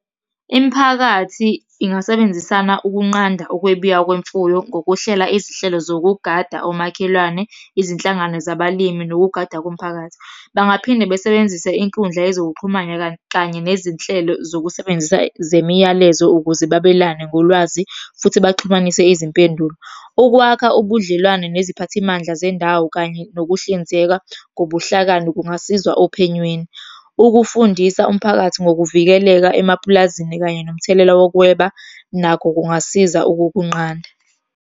Imiphakathi ingasebenzisana ukunqanda ukwebiwa kwemfuyo ngokuhlela izihlelo zokugada omakhelwane, izinhlangano zabalimi, nokugada komphakathi. Bangaphinde besebenzise inkundla yezokuxhumana kanye nezinhlelo zokusebenzisa zemiyalezo ukuze babelane ngolwazi, futhi baxhumanise izimpendulo. Ukwakha ubudlelwane neziphathimandla zendawo, kanye nokuhlinzeka ngobuhlakani kungasiza ophenyweni. Ukufundisa umphakathi ngokuvikeleka emapulazini, kanye nomthelela wokweba, nakho kungasiza ukukunqanda.